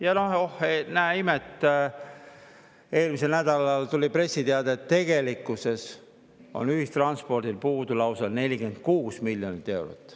Ja oh näe imet, eelmisel nädalal tuli pressiteade, et tegelikkuses on ühistranspordil puudu lausa 46 miljonit eurot.